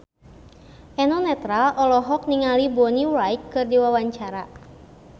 Eno Netral olohok ningali Bonnie Wright keur diwawancara